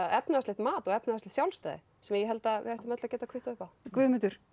efnahagslegt mat og efnahagslegt sjálfstæði sem ég held við ættum öll að geta kvittað upp á Guðmundur